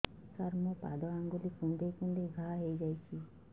ସାର ମୋ ପାଦ ଆଙ୍ଗୁଳି କୁଣ୍ଡେଇ କୁଣ୍ଡେଇ ଘା ହେଇଯାଇଛି